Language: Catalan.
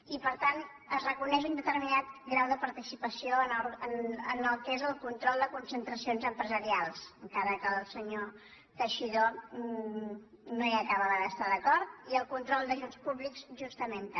i per tant es reconeix un determinat grau de participació en el que és el control de concentracions empresarials encara que el senyor teixidó no hi acabava d’estar d’acord i en el control d’ajuts públics justament també